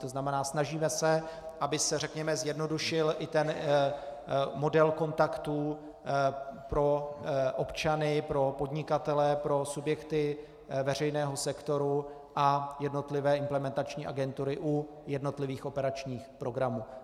To znamená, snažíme se, aby se, řekněme, zjednodušil i ten model kontaktů pro občany, pro podnikatele, pro subjekty veřejného sektoru a jednotlivé implementační agentury u jednotlivých operačních programů.